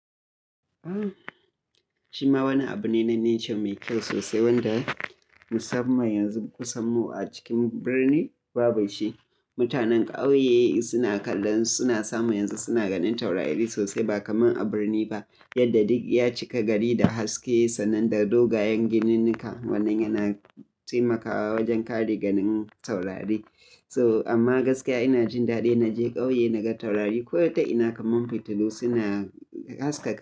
Shima wani abu ne na nature mai kyau sosai wanda musamman yanzu kusan mu a cikin birni ba bai shi. Mutanen ƙauye suna kallon suna samu yanzu suna ganin taurari sosai ba kamar a birni ba, yadda duk ya cika gari da haske sannan da dogayen gininka wannan yana taimakawa wajen kare ganin taurari. So amma gaskiya ina jin daɗi na je ƙauye naga taurari ko da ita ina kaman fitilu suna haskaka.